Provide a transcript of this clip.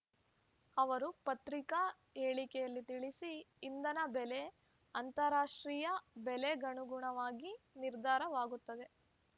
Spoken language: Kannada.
ಅವರು ಪತ್ರಿಕಾ ಹೇಳಿಕೆಯಲ್ಲಿ ತಿಳಿಸಿ ಇಂಧನ ಬೆಲೆ ಅಂತಾರಾಷ್ಟಿ್ರಯ ಬೆಲೆಗನುಗುಣವಾಗಿ ನಿರ್ಧಾರವಾಗುತ್ತದೆ